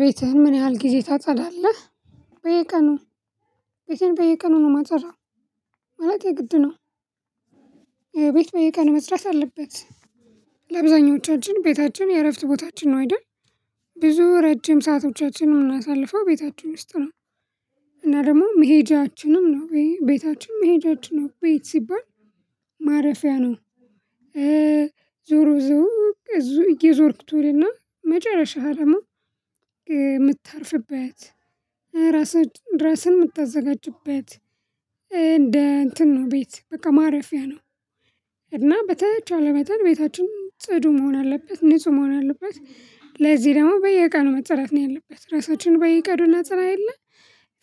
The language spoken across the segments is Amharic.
ቤትህን ምን ያህል ጊዜ ታጸዳለህ? በየቀኑ ቤቴን በየቀኑ ነው የማጸዳው ማለቴ የግድ ነው። ቤት በየቀኑ መጽዳት አለበት። ለአብዛኞቻችን ቤታችን የእረፍት ቦታችን ነው አይደል? ብዙ ረጅም ሰአቶቻችን የምናሳልፈው ቤታችን ውስጥ ነው። እና ደግሞ መሄጃችንም ነው ቤታችን መሄጃችን ነው ቤት ሲባል ማረፊያ ነው። ዞሮ ዞሮ እየዞርኩት እውል እና መጨረሻ ሀረሙ የምትተርፍበት ራስህን ራስህን የምታዘጋጅበት እንትን ነው ቤት በቃ ማረፊያ ነው። እና በተቻለ መጠል ቤታችን ጽዱ መሆን አለበት ንጹህ መሆን አለበት። ለዚህ ደግሞ በየቀኑ መጸዳት ነው ያለበት ራሳችን በየቀኑ እናጸዳ የለ።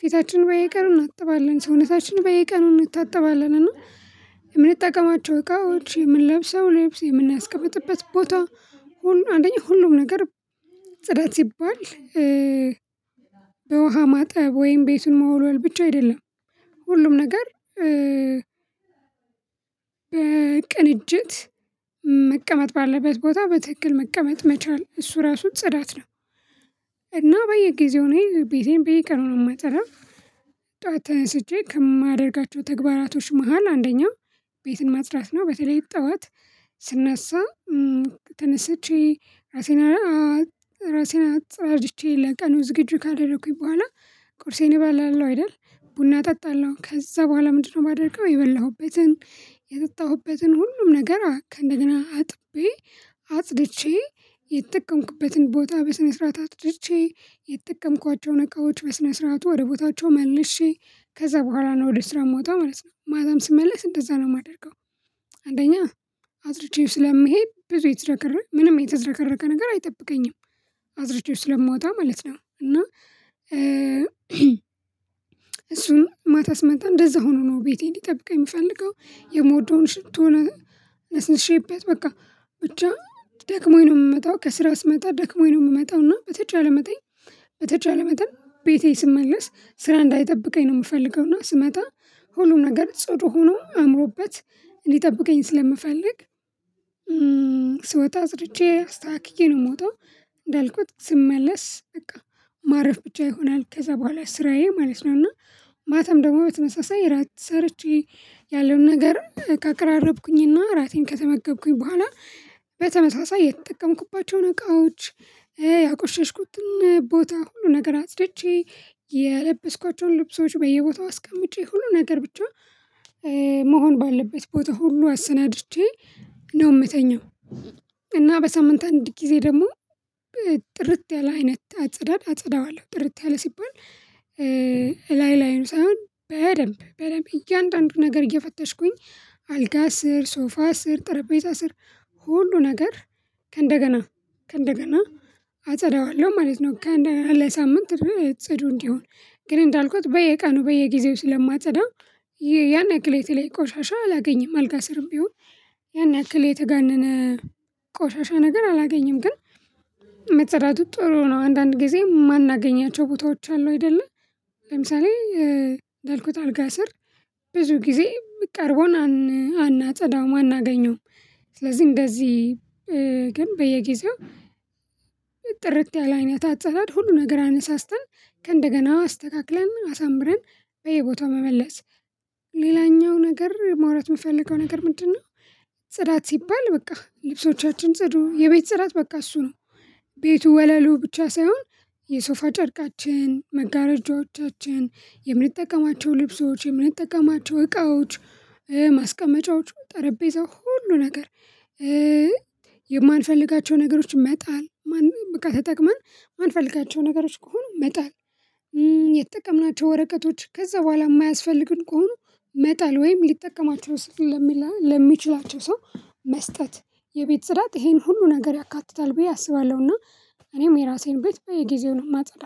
ፊታችን በየቀኑን እናጥባለን ሰውነታችን በይ ቀኑን እንታጠባለን እና የምንጠቀማቸው እቃዎች የምንለብሰው ልብስ የምናስቀምጥበት ቦታ ሁሉ አንደኛ ሁሉም ነገር። ጽዳት ሲባል በውሃ ማጠብ ወይም ቤቱን መወልወል ብቻ አይደለም። ሁሉም ነገር ቅንጅት መቀመጥ ባለበት ቦታ በትክክል መቀመጥ መቻል እሱ ራሱ ጽዳት ነው። እና በየጊዜው እኔ ቤቴን በየቀኑ ነው ማጸዳው። ጠዋት ተነስቼ ከማደርጋቸው ተግባራቶች መሃል አንደኛው ቤትን ማጽዳት ነው በተለይ ጠዋት ስነሳ። ተነስቼ ራሴን ራሴን አጸዳጅቼ ለቀኑ ዝግጁ ካደረኩኝ በኋላ ቁርሴን እበላለው አይደል ነው አይደል? ቡና እጠጣለሁ ከዛ በኋላ ምንድነው የማደርገው? የበላሁበትን የጠጣሁበትን ሁሉም ነገር እንደገና አጥቤ አጽድቼ የተጠቀምኩበትን ቦታ በስነ ስርዓት አጽድቼ የተጠቀምኳቸውን እቃዎች በስነ ስርዓቱ ወደ ቦታቸው መልሼ ከዛ በኋላ ነው ወደ ስራ ምወጣው ማለት ነው። ማታም ስመለስ እንደዛ ነው የማደርገው። አንደኛ አጽድቼው ስለምሄድ ብዙ የተዝረከረ ምንም የተዘረከረ ነገር አይጠብቀኝም። አዝርቼው ስለማወጣ ማለት ነው። እና እሱን ማታ ስመጣ እንደዛ ሆኖ ነው ቤቴ እንዲጠብቅ የምፈልገው የምወደውን ሽቶ ለስንት ሼፕ በቃ ብቻ ደክሞኝ ነው። የምመጣው ከስራ ስመጣ ደክሞኝ ነው የምመጣው እና በትቻለኝ መጠን። በተቻል መጠን ቤቴ ስመለስ ስራ እንዳይጠብቀኝ ነው የምፈልገውና ስመጣ ሁሉም ነገር ጽዱ ሆኖ አምሮበት እንዲጠብቀኝ ስለምፈልግ። ስወጥ አጽድቼ አስተካክቴክዬ ነው የምወጣው። እንዳልኩት ስመለስ በቃ ማረፍ ብቻ ይሆናል ከዛ በኋላ ስራዬ ማለት ነው። እና ማታም ደግሞ በተመሳሳይ ራት ሰርቼ ያለውን ነገርም ከቅራረብኩኝና ራቴን ከተመገብኩኝ በኋላ በተመሳሳይ የተጠቀምኩባቸውን እቃዎች ያቆሸሽኩትን ቦታ ሁሉ ነገር አጽድቼ። ልብሶች በየቦታው አስቀምጬ ሁሉ ነገር ብቻ መሆን ባለበት ቦታ ሁሉ አሰናድቼ ነው የምተኛው። እና በሳምንት አንድ ጊዜ ደግሞ ጥርት ያለ አይነት አጸዳድ አጸዳዋለው ጥርት ያለ ሲባል ላይ ላይ ነው ሳይሆን በደንብ በደንብ እያንዳንዱ ነገር እየፈተሽኩኝ አልጋ ስር ሶፋ ስር ጠረጴዛ ስር ሁሉ ነገር ከእንደገና ከእንደገና አጸዳዋለሁ ማለት ነው። ለሳምንት እጽዱ እንዲሆን ግን እንዳልኩት በየቀኑ በየጊዜው ስለማትዳው ያን ያክል የተለይ ቆሻሻ አላገኝም አልጋ ስርም ቢሆን ያን ያክል የተጋነነ ቆሻሻ ነገር አላገኝም ግን። መጸዳቱ ጥሩ ነው አንዳንድ ጊዜ የማናገኛቸው ቦታዎች አሉ አይደለ? ለምሳሌ እንዳልኩት አልጋ ስር ብዙ ጊዜ የምቀርበውን አናጸዳውም አናገኘውም። ስለዚህ እንደዚህ በየጊዜው ጥርት ያለ አይነት አጸዳድ ሁሉን ነገር አነሳስተን ከእንደገና አስተካክለን አሳምረን በየቦታው መመለስ። ሌላኛው ነገር ማውራት የምፈልገው ነገር ምንድነው? ጽዳት ሲባል በቃ ልብሶቻችን ጽዱ የቤት ጽዳት በቃ እሱ ነው። ቤቱ ወለሉ ብቻ ሳይሆን የሶፋ ጨርቃችን መጋረጃዎቻችን የምንጠቀማቸው ልብሶች የምንጠቀማቸው እቃዎች ማስቀመጫዎቹ ጠረጴዛው ሁሉ ነገር። የማንፈልጋቸው ነገሮች መጣል በቃ ተጠቅመን የማንፈልጋቸው ነገሮች ከሆኑ መጣል። የተጠቀምናቸው ወረቀቶች ከዛ በኋላ የማያስፈልግን ከሆነ መጣል ወይም ሊጠቀማቸው ስል ለሚችላቸው ሰው መስጠት የቤት ጽዳት ይሄን ሁሉ ነገር ያካትታል። ብዬ አስባለሁና እኔም የራሴን ቤት በጊዜው ነው ማጸዳ